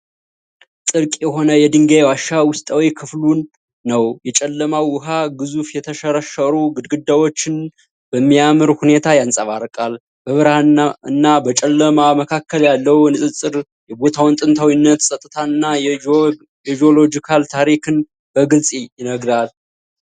ጥልቅ የሆነ የድንጋይ ዋሻ ውስጣዊ ክፍልን ነው። የጨለመው ውሃ ግዙፍ የተሸረሸሩ ግድግዳዎችን በሚያምር ሁኔታ ያንጸባርቃል። በብርሃንና በጨለማ መካከል ያለው ንፅፅር የቦታውን ጥንታዊነት፣ ፀጥታና የጂኦሎጂካል ታሪክን በግልጽ ይገልጻል።